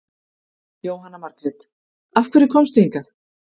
Jóhanna Margrét: Af hverju komstu hingað?